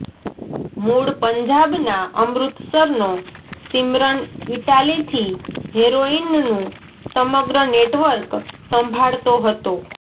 મુળ પંજાબના અમૃતસરનો સિમરન ઈટાલીથી હેરોઈનનું સમગ્ર નેટવર્ક સંભાળતો હતો